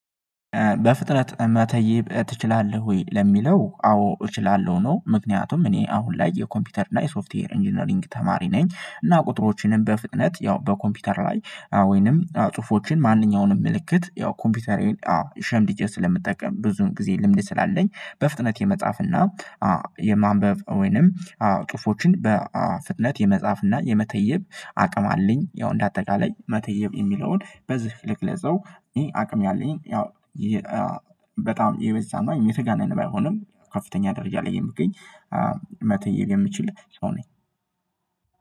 በፍጥነት መተይብ ትችላለህ ወይ ለሚለው አዎ እችላለሁ ነው? ምክንያቱም እኔ አሁን ላይ የኮምፒውተር እና የሶፍትዌር ኢንጂነሪንግ ተማሪ ነኝ። እና ቁጥሮችንም በፍጥነት ያው በኮምፒውተር ላይ ወይንም ጽሁፎችን ማንኛውንም ምልክት ያው ኮምፒውተሬን አዎ ሸምድጄ ስለምጠቀም ብዙም ጊዜ ልምድ ስላለኝ በፍጥነት የመጽሐፍ የመጻፍና የማንበብ ወይንም ጽሁፎችን በፍጥነት የመጻፍና የመተየብ አቅም አለኝ። ያው እንደ አጠቃላይ መተየብ የሚለውን በዚህ ልግለጸው አቅም አለኝ። ያው በጣም የበዛና የተጋነነ ባይሆንም ከፍተኛ ደረጃ ላይ የምገኝ መተየብ የምችል ሰው ነኝ።